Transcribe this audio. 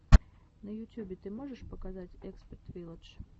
на ютюбе ты можешь показать экспет вилладж